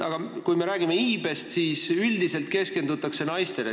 Aga kui me räägime iibest, siis üldiselt keskendutakse naistele.